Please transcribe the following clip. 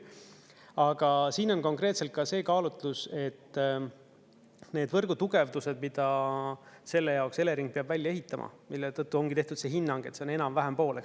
Aga siin on konkreetselt ka see kaalutlus, et need võrgutugevdused, mida selle jaoks Elering peab välja ehitama, mille tõttu ongi tehtud see hinnang, et see on enam-vähem pooleks.